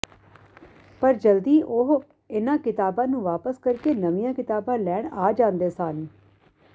ਪਰ ਜਲਦੀ ਉਹ ਉਨ੍ਹਾਂ ਕਿਤਾਬਾਂ ਨੂੰ ਵਾਪਿਸ ਕਰਕੇ ਨਵੀਆਂ ਕਿਤਾਬਾਂ ਲੈਣ ਆ ਜਾਂਦੇ ਸਨ